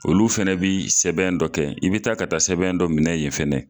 Olu fɛnɛ bi sɛbɛn dɔ kɛ i bi taa ka taa sɛbɛn dɔ minɛ yen fɛnɛ